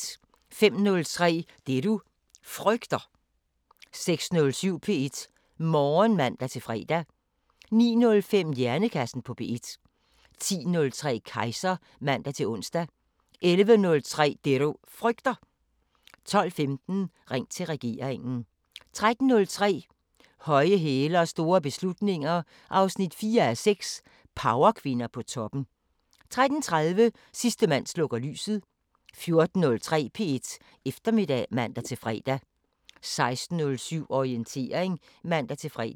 05:03: Det du frygter 06:07: P1 Morgen (man-fre) 09:05: Hjernekassen på P1 10:03: Kejser (man-ons) 11:03: Det du frygter 12:15: Ring til regeringen 13:03: Høje hæle og store beslutninger 4:6 – Powerkvinder på toppen 13:30: Sidste mand slukker lyset 14:03: P1 Eftermiddag (man-fre) 16:07: Orientering (man-fre)